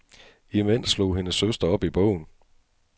Imens slog hendes søster op i bogen.